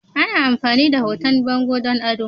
Ana amfani da hoton bango don ado.